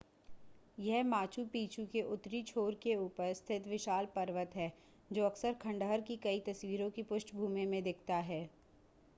यह Machu Picchu के उत्तरी छोर के ऊपर स्थित विशाल पर्वत है जो अक्सर खंडहर की कई तस्वीरों की पृष्ठभूमि में दिखता है